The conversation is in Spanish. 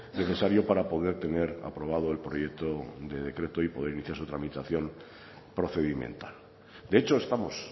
necesario para poder tener aprobado el proyecto de decreto y poder iniciar su tramitación procedimental de hecho estamos